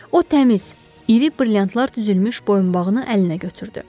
O təmiz, iri brilliantlar düzülmüş boyunbağını əlinə götürdü.